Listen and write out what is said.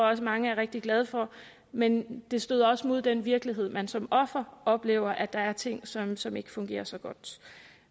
også mange er rigtig glade for men det støder også mod den virkelighed man som offer oplever nemlig at der er ting som som ikke fungerer så godt